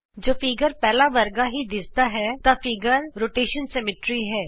ਜੇ ਚਿੱਤਰ ਪਹਿਲਾਂ ਵਰਗਾ ਹੀ ਦਿੱਸਦਾ ਹੈ ਤਾਂ ਚਿੱਤਰ ਪਰਿਕਰਮਣ ਸਮਮਿਤੀ ਹੈ